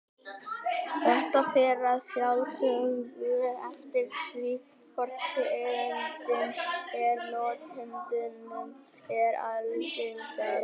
Þetta fer að sjálfsögðu eftir því hvor tegundin af notendunum er algengari.